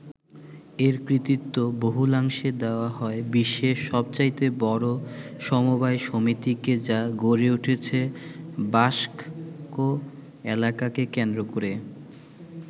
এর কৃতিত্ব বহুলাংশে দেয়া হয় বিশ্বের সবচাইতে বড় সমবায় সমিতিকে যা গড়ে উঠেছে বাস্ক এলাকাকে কেন্দ্র করে।